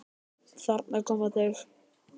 Þarna koma þau!